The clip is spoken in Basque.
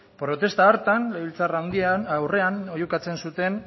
protesta hartan legebiltzarraren aurrean oihukatzen zuten